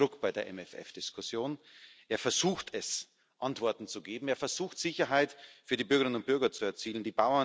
Er macht Druck bei der MFR Diskussion, er versucht, Antworten zu geben, er versucht, Sicherheit für die Bürgerinnen und Bürger zu erzielen.